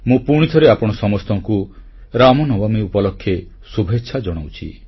ମୁଁ ପୁଣିଥରେ ଆପଣମାନଙ୍କୁ ସମସ୍ତଙ୍କୁ ଶ୍ରୀରାମନବମୀ ଉପଲକ୍ଷେ ଶୁଭେଚ୍ଛା ଜଣାଉଛି